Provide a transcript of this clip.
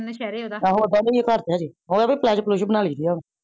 ਆਹੋ ਆਓਦਾ ਘਰ ਤਾ ਹੇਜੇ ਓਹ ਤਾ ਪਾਲਾਜੋ ਪੁਲਾਜੋ ਬਣਾ ਲੇੰਦੀ ਏ